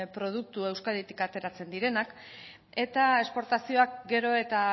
produktu euskaditik ateratzen direnak eta esportazioak gero eta